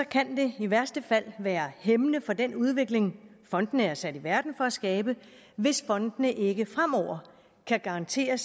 kan det i værste fald være hæmmende for den udvikling fondene er sat i verden for at skabe hvis fondene ikke fremover kan garantere